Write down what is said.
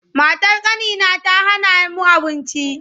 Matar ƙanina ta hana mu abinci.